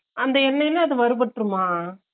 அந்த எண்ணைல அது வருபட்டுறுமா ?